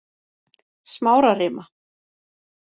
Smárarima